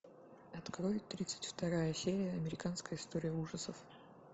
открой тридцать вторая серия американская история ужасов